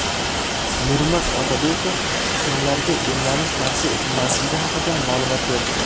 Nurmat Otabekov kimlarga emlanish tavsiya etilmasligi haqida ma’lumot berdi.